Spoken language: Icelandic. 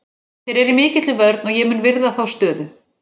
Þeir eru í mikilli vörn og ég mun virða þá stöðu.